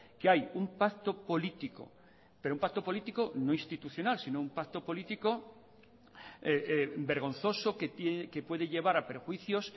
que hay un pacto político pero un pacto político no institucional sino un pacto político vergonzoso que puede llevar a perjuicios